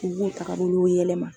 U b'u tagabolow yɛlɛma.